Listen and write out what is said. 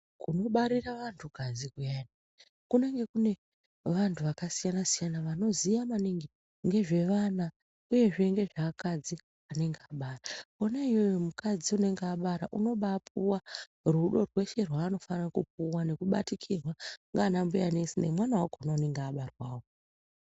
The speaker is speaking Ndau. Kunobarira vantu kadzi kuyani kunenge kune vantu vakasiyana-siyana vanoziya maningi ngezve vana, uyezve ngezveakadzi anenge abara kona iyoyo mukadzi unonga abara unobapuva rudo rwese rwaanofanira kupuva nekubatikirwa ndiana mbuya nesi nemwana vako anenge abarwa wo..